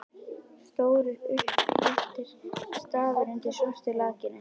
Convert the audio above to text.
Stórir, upphleyptir stafir undir svörtu lakkinu!